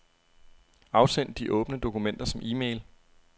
Afsend de åbne dokumenter som e-mail.